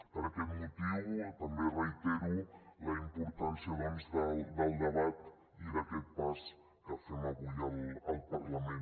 per aquest motiu també reitero la importància doncs del debat i d’aquest pas que fem avui al parlament